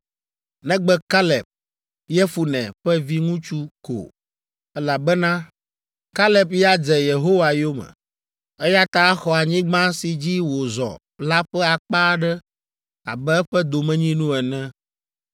negbe Kaleb, Yefune ƒe viŋutsu ko, elabena Kaleb ya dze Yehowa yome, eya ta axɔ anyigba si dzi wòzɔ la ƒe akpa aɖe abe eƒe domenyinu ene.”